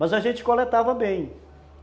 Mas a gente coletava bem.